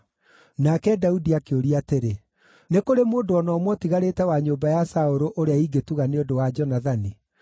Nake Daudi akĩũria atĩrĩ, “Nĩ kũrĩ mũndũ o na ũmwe ũtigarĩte wa nyũmba ya Saũlũ ũrĩa ingĩtuga nĩ ũndũ wa Jonathani?”